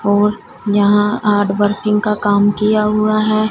और यहां art working का काम किया हुआ है।